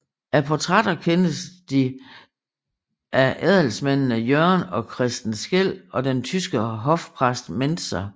Af portrætter kendes de af adelsmændene Jørgen og Christen Skeel og den tyske hofpræst Mentzer